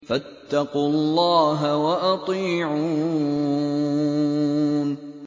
فَاتَّقُوا اللَّهَ وَأَطِيعُونِ